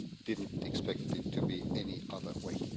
I didn't expect it to be any other way.